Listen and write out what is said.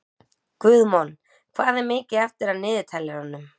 Guðmon, hvað er mikið eftir af niðurteljaranum?